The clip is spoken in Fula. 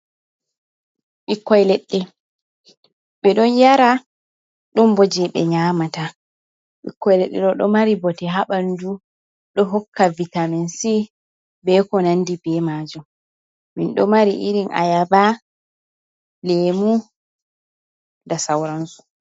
Ɓikkoi leɗɗe. Ɓe ɗon yara, ɗon bo jei ɓe nyaamata. Ɓikkoi leɗɗe ɗo ɗo mari bote ha ɓandu. Ɗo hokka vitamin C, be ko nandi be maajum. Min ɗo mari irin ayaba, leemu da sauran su.